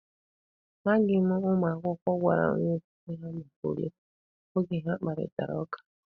Amaghị ma ụmụ akwụkwọ gwara onye nkụzi ha maka ule, oge ha na-akparịta ụka.